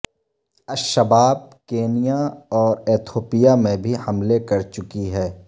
الشباب Kenya اور Ethiopia میں بھی حملے کر چکی ہے